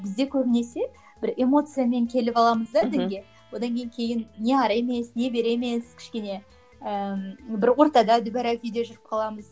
бізде көбінесе бір эмоциямен келіп аламыз да дінге одан кейін не әрі емес не бері емес кішкене ыыы бір ортада дүбәрә күйде жүріп қаламыз